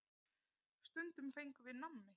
Stundum fengum við nammi.